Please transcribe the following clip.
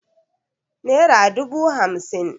Nera dubu hamsin